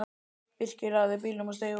Birkir lagði bílnum og steig út.